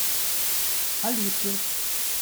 алиске